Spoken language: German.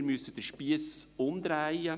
wir müssen den Spiess umdrehen;